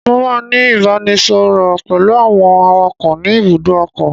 Mo máa ní ìbánisọọ̀rọ̀ pẹ̀lú àwọn awakọ̀ ni ibùdó ọkọ̀.